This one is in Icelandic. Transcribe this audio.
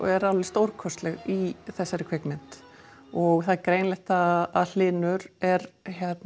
er alveg stórkostleg í þessari kvikmynd og það er greinilegt að Hlynur er